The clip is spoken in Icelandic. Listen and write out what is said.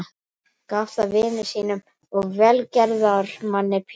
Gaf það vini sínum og velgerðarmanni Pétri